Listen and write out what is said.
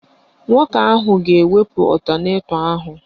Nwoke ahụ ga-ewepụ ọtanetọ ahụ